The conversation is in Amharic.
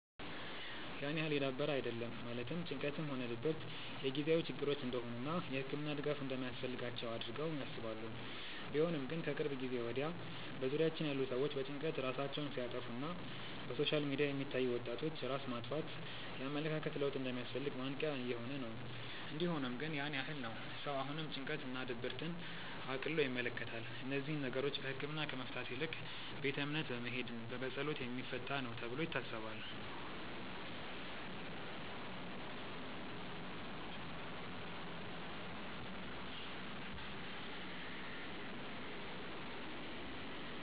ያን ያህል የዳበረ አይደለም ማለትም ጭንቀትም ሆነ ድብረት የጊዜያዊ ችግሮች እንደሆኑ እና የህክምና ድጋፍ እንደማያስፈልጋቸው አድርገው ያስባሉ። ቢሆንም ግን ከቅርብ ጊዜ ወድያ በዙሪያችን ያሉ ሰዎች በጭንቀት ራሳቸውን ሲያጠፋ እና በሶሻል ሚዲያ የሚታዩ የወጣቶች ራስ ማጥፋት የኣመለካከት ለውጥ እንደሚያስፈልግ ማንቅያ እየሆነ ነው። እንዲ ሆኖም ግን ያን ያህል ነው ሰው አሁንም ጭንቀት እና ድብርትን እቅሎ ይመለከታል። እነዚህን ነገሮች በህክምና ከመፍታት ይልቅ ቤተ እምነት በመሄድ በፀሎት የሚፈታ ነው ተብሎ ይታሰባል።